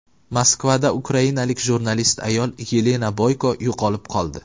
Moskvada ukrainalik jurnalist ayol Yelena Boyko yo‘qolib qoldi.